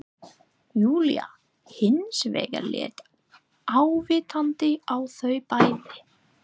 Júlía hins vegar leit ávítandi á þau bæði